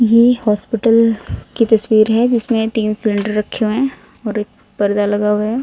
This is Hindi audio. ये हॉस्पिटल की तस्वीर है जिसमें तीन सिलेंडर रखे हुए हैं और एक पर्दा लगा हुआ है।